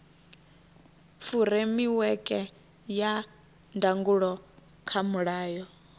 furemiweke ya ndangulo kha mulayo